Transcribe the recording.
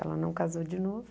Ela não casou de novo.